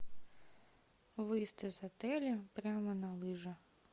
выезд из отеля прямо на лыжи